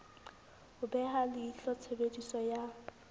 ho beha leihlo tshebediso ya